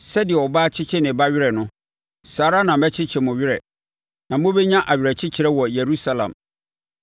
Sɛdeɛ ɔbaa kyekye ne ba werɛ no saa ara na mɛkyekye mo werɛ; na mobɛnya awerɛkyekyerɛ wɔ Yerusalem.”